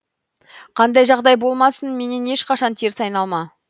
қандай жағдай болмасын менен ешқашан теріс айналма